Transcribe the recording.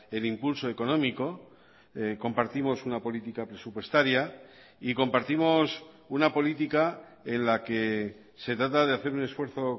el impulso económico compartimos una política presupuestaria y compartimos una política en la que se trata de hacer un esfuerzo